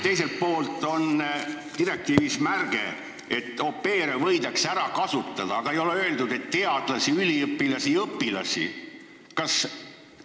Teiselt poolt on direktiivis märge, et au pair'e võidakse ära kasutada, mida ei ole öeldud teadlaste, üliõpilaste ega õpilaste kohta.